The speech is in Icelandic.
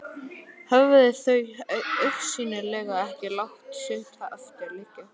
Höfðu þau augsýnilega ekki látið sitt eftir liggja.